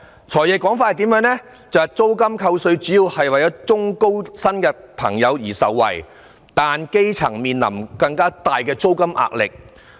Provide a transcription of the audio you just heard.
"財爺"的說法是，租金扣稅主要令中高薪人士受惠，但基層面臨更大的租金壓力。